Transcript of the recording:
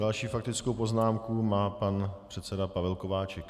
Další faktickou poznámku má pan předseda Pavel Kováčik.